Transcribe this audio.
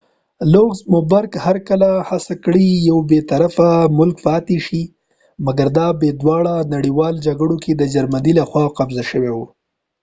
لوګزمبرګ هر کله هڅه کړی یو بی طرفه ملک پاتی شی مګر دا په دواړو نړیوالو جګړو کی د جرمنی له خوا قبضه شو